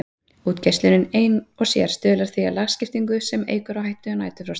Útgeislunin ein og sér stuðlar því að lagskiptingu sem eykur hættu á næturfrosti.